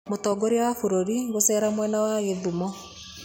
Mũtongoria wa bũrũri gũceera mwena wa Gĩthumo